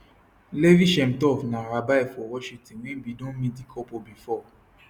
levi shemtov na rabbi for washington wey bin don meet di couple before